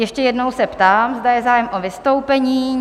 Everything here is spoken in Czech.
Ještě jednou se ptám, zda je zájem o vystoupení?